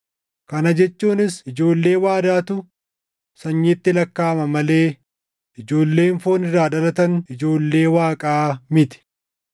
Kana jechuunis ijoollee waadaatu sanyiitti lakkaaʼama malee ijoolleen foon irraa dhalatan ijoollee Waaqaa miti.